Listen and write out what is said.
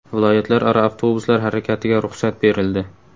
Viloyatlararo avtobuslar harakatiga ruxsat berildi.